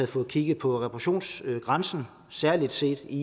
fået kigget på reparationsgrænsen særlig set i